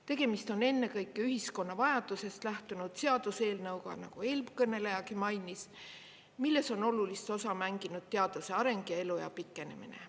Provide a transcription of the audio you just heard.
Tegemist on ennekõike ühiskonna vajadusest lähtunud seaduseelnõuga, nagu eelkõnelejagi mainis, milles on olulist osa mänginud teaduse areng ja eluea pikenemine.